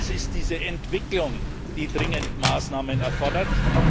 Es ist diese Entwicklung, die dringend Maßnahmen erfordert.